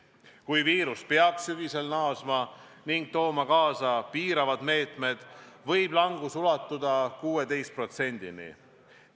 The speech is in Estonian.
Kui viirus peaks sügisel naasma ning tooma taas kaasa piiravad meetmed, võib langus ulatuda 16%-ni.